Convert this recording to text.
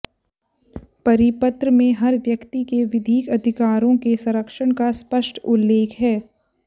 परिपत्र में हर व्यक्ति के विधिक अधिकारों के संरक्षण का स्पष्ट उल्लेख है